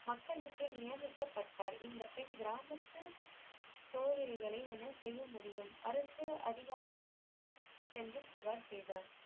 மக்களுக்கு நியமிக்கபட்டார் இந்த பெண் கிராமத்து சொதிரிகளை என்ன செய்ய முடியும் அரசு அதிகாரங்களிடம் சென்று புகார் செய்தார்